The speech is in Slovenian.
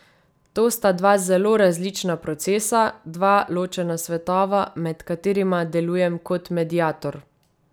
To sta dva zelo različna procesa, dva ločena svetova, med katerima delujem kot mediator.